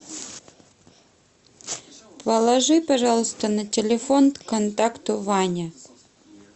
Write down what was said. положи пожалуйста на телефон контакту ване